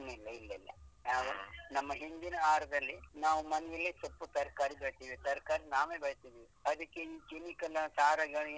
ಇಲ್ಲ ಇಲ್ಲ ಇಲ್ಲ ಇಲ್ಲ ನಾವು ನಮ್ಮ ಹಿಂದಿನ ಆಹಾರದಲ್ಲಿ ನಾವು ಮನೆಯಲ್ಲೇ ಸೊಪ್ಪು ತರ್ಕಾರಿ ಬೆಳೆಸ್ತೀವಿ ತರ್ಕಾರಿ ನಾವೇ ಬೆಳೆಸ್ತೀವಿ ಅದಕ್ಕೆ ಈ chemical